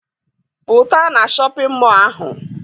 Pụta na shọpịn mọọ ahụ!